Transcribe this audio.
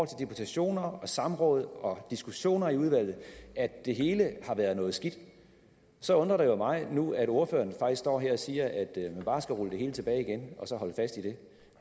deputationer samråd og diskussioner i udvalget at det hele har været noget skidt så undrer det mig jo nu at ordføreren faktisk står her og siger at man bare skal rulle det hele tilbage igen og så holde fast i det